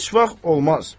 Heç vaxt olmaz.